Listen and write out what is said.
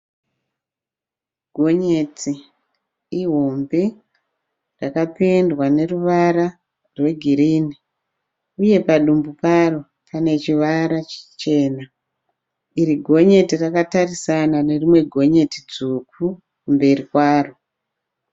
Gonyeti ihombe rakapendwa neruvara rwegirinhi uye padumbu paro pane chivara chichena. Iri gonyeti rakatarisana nerimwe gonyeti dzvuku kumberi kwaro.